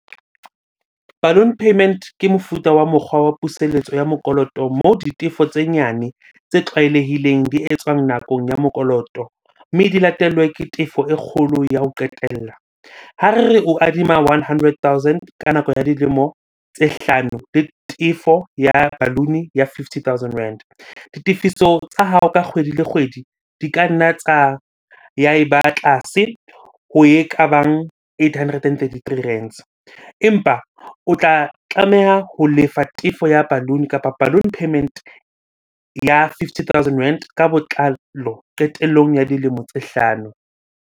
Balloon payment ke mofuta wa mokgwa wa puseletso ya mokoloto mo ditefo tse nyane tse tlwaelehileng di etswang nakong ya mokoloto. Mme di latellwe ke tefo e kgolo ya ho qetella. Ha re re o adima one hundred thousand ka nako ya dilemo tse hlano le tefo ya balloon-e ya fifty thousand. Ditefiso tsa hao ka kgwedi le kgwedi di ka nna tsa, ya e ba tlase ho ekabang eight hundred and thirty-three rands. Empa o tla tlameha ho lefa tefo ya balloon-o kapa balloon payment ya fifty thousand rand ka botlalo qetellong ya dilemo tse hlano.